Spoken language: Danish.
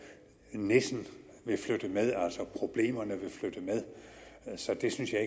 nissen vil flytte med altså problemerne vil flytte med så det synes jeg